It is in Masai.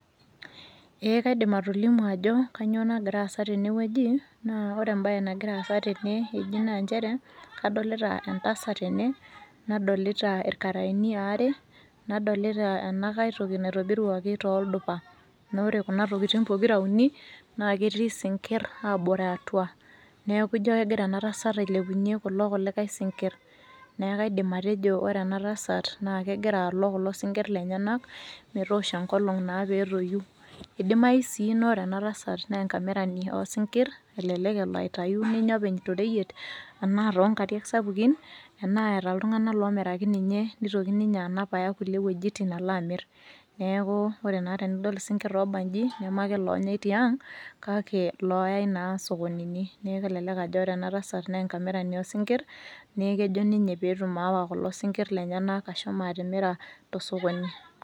Eeh kaidim atolimu ajo kanyoo nagiraasa tenewueji naa ore embaye nagira aasa tene eji naanchere kadolita entasat tene nadolita ilkaraini aare nadolita enakaitoki naitobiruaki tooldupa. Noore kuna tokitin pokira uni naaketii sinkirr aabore atua. Neaku ijo kegira enatasat ailepunye kulo kulikai sinkirr. Neaku aidim atejo ore enatasat naa kegiraalok kulo sinkirr lenyenak metoosho enkolong' naa peetoyu. Eidimayu sii noore enatasat neenkamirani oosinkirr. Elelek eloatayu ninye openy toreyet anaa toonkariak sapukin enaa eeta iltung'ana loomiraki ninye neitoki ninye anap aya kulie wuejitin aloamirr. Neaku ore naa tenidol isinkirr looba inji nemeake loonyai tiang' kake looyai naa sokonini neaku elelek ajo ore enatasat neenkamirani oosinkirr neekejo ninye peetum aawa kulo sinkirr lenyenak ashomo atimira tosokoni.